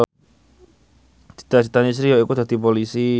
cita citane Sri yaiku dadi Polisi